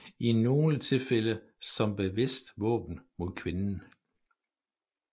I nogle tilfælde som bevidst våben mod kvinden